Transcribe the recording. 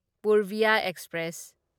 Purbiya express